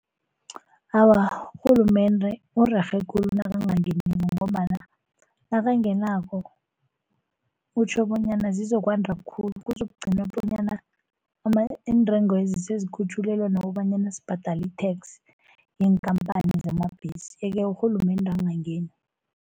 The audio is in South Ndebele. Awa urhulumende urerhe khulu nakangangeniko, ngombana nakangenako utjho bonyana zizokwanda khulu kuzokugcinwa bonyana iintengwezi sezikhutjhulelwe nokobanyana sibhadala i-tax yeenkampani zamabhesi. Yeke urhulumende angangeni.